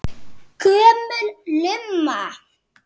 Gömul lumma.